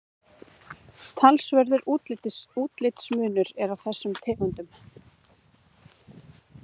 talsverður útlitsmunur er á þessum tegundum